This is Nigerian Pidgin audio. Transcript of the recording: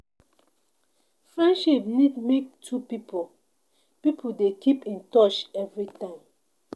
Friendship need make two pipo pipo dey keep in touch every time